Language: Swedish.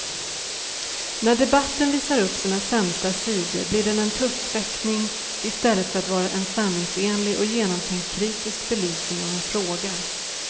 När debatten visar upp sina sämsta sidor blir den tuppfäktning istället för att vara en sanningsenlig och genomtänkt kritisk belysning av en fråga.